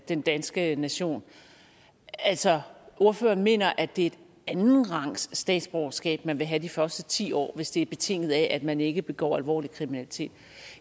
den danske nation altså ordføreren mener at det er et andenrangsstatsborgerskab man vil have de første ti år hvis det er betinget af at man ikke begår alvorlig kriminalitet